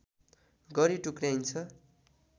गरी टुक्र्याइन्छ